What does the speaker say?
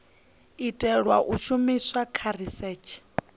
itelwa u shumiswa kha risetshe